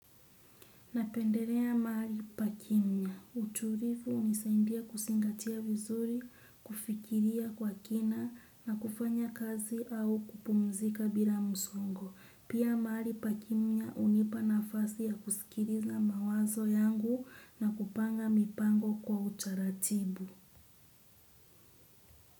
Napendelea mahali pa kimya. Utulivu unisaindia kusingatia vizuri, kufikiria kwa kina na kufanya kazi au kupumzika bila msongo. Pia maahli pa kimya hunipa nafasi ya kusikiliza mawazo yangu na kupanga mipango kwa utaratibu.